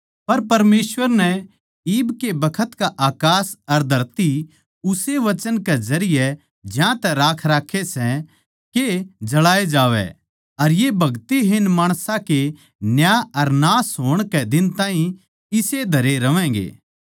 पर परमेसवर नै इब के बखत का अकास अर धरती उस्से वचन कै जरिये ज्यांतै राख राक्खे सै के जळाए जावै अर ये भगतिहीन माणसां के न्याय अर नाश होण कै दिन ताहीं इसेए धरे रहवैंगे